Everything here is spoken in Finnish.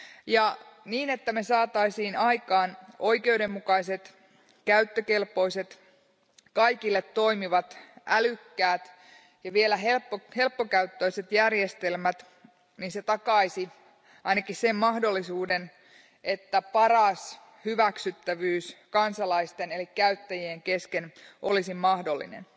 Ja niin, että me saisimme aikaan oikeudenmukaiset, käyttökelpoiset, kaikille toimivat, älykkäät ja vielä helppokäyttöiset järjestelmät, se takaisi ainakin sen mahdollisuuden, että paras hyväksyttävyys kansalaisten eli käyttäjien kesken olisi mahdollinen.